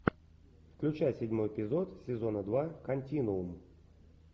включай седьмой эпизод сезона два континуум